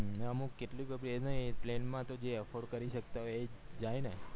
અમ અમુક કેટલી તો ભી એ plane માં તો જે afford કરી શક્કતા હોય જાય ને